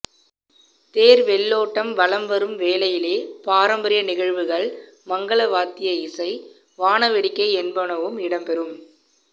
தேர் வெள்ளோட்டம் வலம் வரும் வேளையிலே பாரம்பரிய நிகழ்வுகள் மங்கள வாத்திய இசை வானவேடிக்கை என்பனவும் இடம் பெறும்